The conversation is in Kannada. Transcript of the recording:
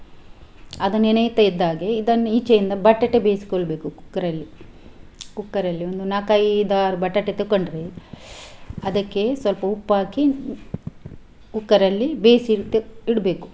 ಅದು ನೆನೆಯಿತ ಇದ್ದಾಗೆ ಇದನ್ನು ಈಚೆಯಿಂದ ಬಟಾಟೆ ಬೇಯಿಸಿಕೊಳ್ಳ್ಬೇಕು cooker ಅಲ್ಲಿ cooker ಅಲ್ಲಿ ಒಂದು ನಾಲ್ಕು ಐದು ಆರು ಬಟಾಟೆ ತೆಕೊಂಡ್ರೆ ಅದಕ್ಕೆ ಸ್ವಲ್ಪ ಉಪ್ಪು ಹಾಕಿ cooker ಅಲ್ಲಿ ಬೇಯಿಸಿ ಇಟ್ಟು ಇಡ್ಬೇಕು.